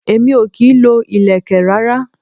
Èmi o kì í lo ilẹ̀kè rárá.